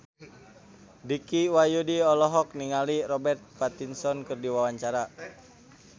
Dicky Wahyudi olohok ningali Robert Pattinson keur diwawancara